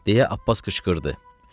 deyə Abbas qışqırdı.